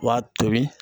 B'a tobi